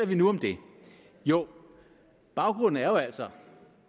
vi nu om det jo baggrunden er jo altså